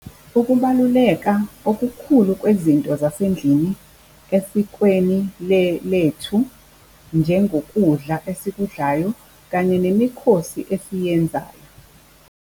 Ukubaluleka okukhulu kwezinto zasendlini esikweni lethu njengokudla esikudlayo kanye nemikhosi esiyenzayo.